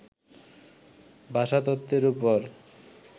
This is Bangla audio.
ভাষাতত্ত্বের উপর